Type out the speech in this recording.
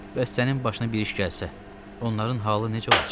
Bəs sənin başına bir iş gəlsə, onların halı necə olacaq?